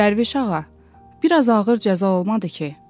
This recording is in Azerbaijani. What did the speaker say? Dərviş ağa, biraz ağır cəza olmadı ki?